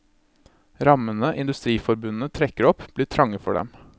Rammene industriforbundene trekker opp, blir trange for dem.